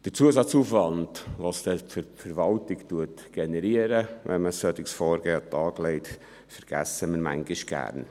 Der Zusatzaufwand, den es dann für die Verwaltung generiert, wenn man ein solches Vorgehen an den Tag legt, vergessen wir manchmal gerne.